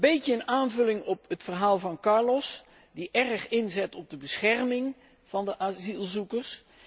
Dit is een aanvulling op het verhaal van Carlos, die erg inzet op de bescherming van de asielzoekers.